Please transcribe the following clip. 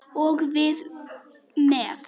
Og við með.